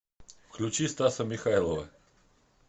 включи стаса михайлова